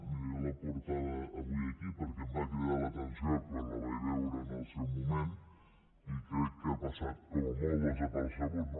miri jo la portava avui aquí perquè em va cridar l’atenció quan la veig veure en el seu moment i crec que ha passat com a molt desapercebuda